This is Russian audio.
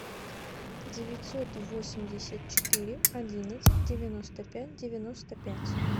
девятьсот восемьдесят четыре одиннадцать девяносто пять девяносто пять